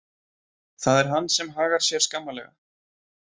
Það er hann sem hagar sér skammarlega.